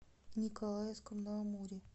николаевском на амуре